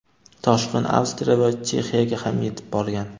toshqin Avstriya va Chexiyaga ham yetib borgan.